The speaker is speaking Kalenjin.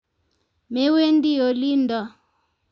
Mewendi olindo